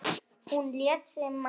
Hún lét sig mann varða.